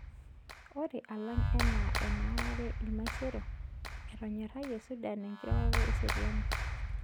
Ore alang anaa enaarare ilmaisero, etonyorayie Sudan inkirorort eseriani.